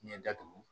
Ɲɛ datugu